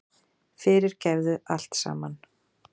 Fyrirgefðu allt saman.